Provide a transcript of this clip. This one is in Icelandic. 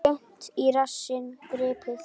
Seint í rassinn gripið.